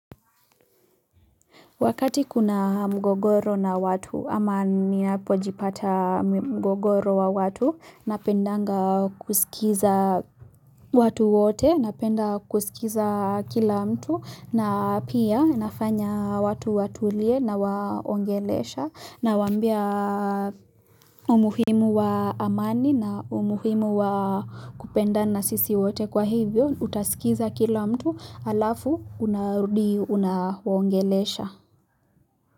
Wakati kuna mgogoro na watu ama ninapojipata mgogoro wa watu napendanga kusikiza watu wote napenda kusikiza kila mtu na pia nafanya watu watulie nawaongelesha nawambia umuhimu wa amani na umuhimu wa kupendana sisi wote kwa hivyo utasikiza kila mtu alafu unahudi unahongelesha.